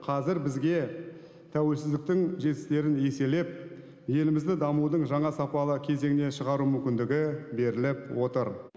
қазір бізге тәуелсіздіктің жетістіктерін еселеп елімізді дамудың жаңа сапалы кезеңіне шығару мүмкіндігі беріліп отыр